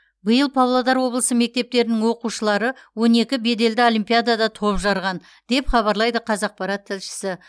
биыл павлодар облысы мектептерінің оқушылары он екі беделді олимпиадада топ жарған деп хабарлайды қазақпарат тілшісі